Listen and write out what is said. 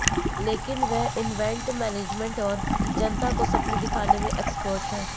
लेकिन वे event management और जनता को सपने दिखाने में एक्सपर्ट हैं